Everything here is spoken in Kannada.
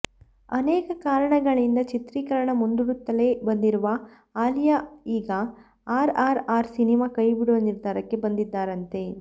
ಅನೇಕ ಕಾರಣಗಳಿಂದ ಚಿತ್ರೀಕರಣ ಮುಂದೂಡುತ್ತಲೆ ಬಂದಿರುವ ಅಲಿಯಾ ಈಗ ಆರ್ ಆರ್ ಆರ್ ಸಿನಿಮಾ ಕೈಬಿಡುವ ನಿರ್ಧಾರಕ್ಕೆ ಬಂದಿದ್ದಾರಂತೆ